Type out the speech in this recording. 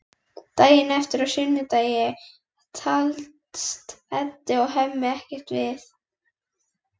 Daginn eftir, á sunnudegi, talast Edda og Hemmi ekkert við.